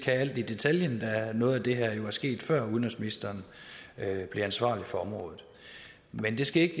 alt i detaljen da noget af det her jo er sket før udenrigsministeren blev ansvarlig for området men det skal ikke